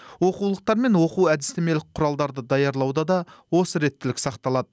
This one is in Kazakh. оқулықтар мен оқу әдістемелік құралдарды даярлауда да осы реттілік сақталады